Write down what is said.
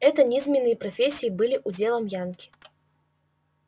эти низменные профессии были уделом янки